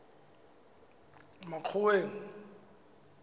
makgoweng